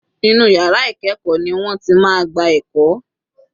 Inú yàrá ìkẹ́ẹ̀kọ́ ni wọ́n ti máa gba ẹ̀kọ́.